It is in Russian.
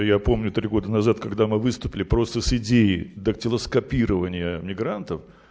я помню три года назад когда мы выступали просто с идеи дактилоскопирования мигрантов